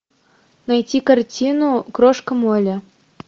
найти картину крошка молли